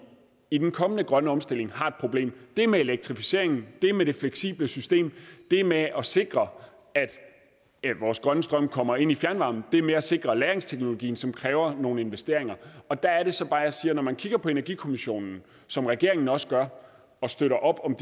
i den kommende grønne omstilling har et problem det er med elektrificeringen det er med det fleksible system det er med at sikre at vores grønne strøm kommer ind i fjernvarmen og det er med at sikre lagringsteknologien som kræver nogle investeringer og der er det så bare jeg siger at når man kigger på energikommissionen som regeringen også gør og støtter op om